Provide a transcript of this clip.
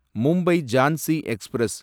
Mumbai Jhansi express